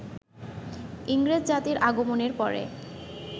ইংরেজ জাতির আগমনের পরে